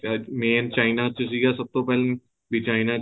main china ਚ ਸੀਗਾ ਸਭ ਤੋਂ ਪਹਿਲਾਂ ਵੀ china ਚ